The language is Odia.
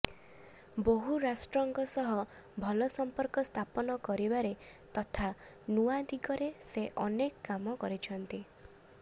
ବହୁ ରାଷ୍ଟ୍ରଙ୍କ ସହ ଭଲ ସମ୍ପର୍କ ସ୍ଥାପନ କରିବାରେ ତଥା ନୂଆ ଦିଗରେ ସେ ଅନେକ କାମ କରିଛନ୍ତି